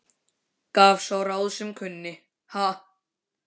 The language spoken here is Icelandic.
Gaf sá ráð sem kunni, ha!